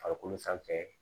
Farikolo sanfɛ